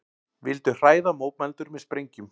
Vildu hræða mótmælendur með sprengjum